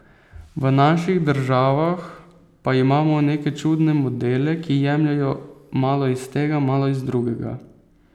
V naših državah pa imamo neke čudne modele, ki jemljejo malo iz tega, malo iz drugega.